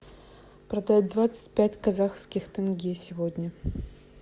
продать двадцать пять казахских тенге сегодня